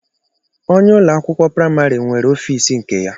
Ònye ụlọ akwụkwọ praịmarị nwere ọfiisi nke ya.